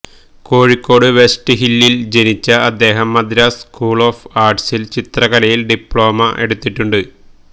കോഴിക്കോട് വെസ്റ്റ്ഹിലില് ജനിച്ച അദ്ദേഹം മദ്രാസ് സ്കൂള് ഓഫ് ആര്ട്സില് ചിത്രകലയില് ഡിപ്ലോമി എടുത്തിട്ടുണ്ട്